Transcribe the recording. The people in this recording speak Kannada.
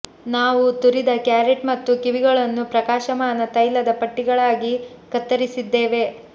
ನಾವು ತುರಿದ ಕ್ಯಾರೆಟ್ ಮತ್ತು ಕಿವಿಗಳನ್ನು ಪ್ರಕಾಶಮಾನ ತೈಲದ ಪಟ್ಟಿಗಳಾಗಿ ಕತ್ತರಿಸಿದ್ದೇವೆ